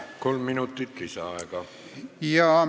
Palun, kolm minutit lisaaega!